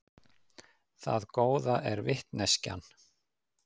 Það góða er vitneskjan.